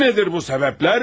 Nedir bu sebepler?